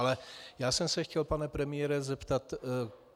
Ale já jsem se chtěl, pane premiére, zeptat.